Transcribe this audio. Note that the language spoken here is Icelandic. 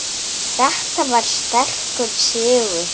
Þetta var sterkur sigur.